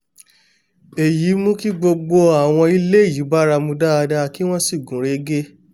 èyí mú kí gbogbo àwọn ilé yìí báramu dáadáa kí wọ́n sì gúnrégé